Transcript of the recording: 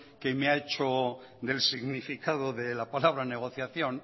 que me ha hecho del significado de la palabra negociación